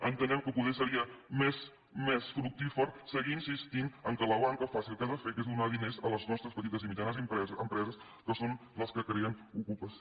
entenem que poder seria més fructífer seguir insistint que la banca faci el que ha de fer que és donar diners a les nostres petites i mitjanes empreses que són les que creen ocupació